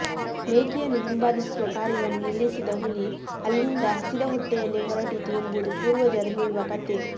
ಮೇಕೆಯನ್ನು ಹಿಂಬಾಲಿಸುವ ಕಾರ್ಯವನ್ನು ನಿಲ್ಲಿಸಿದ ಹುಲಿ ಅಲ್ಲಿಂದ ಹಸಿದ ಹೊಟ್ಟೆಯಲ್ಲೇ ಹೊರಟಿತು ಎಂಬುದು ಪೂರ್ವಜರು ಹೇಳುವ ಕಥೆ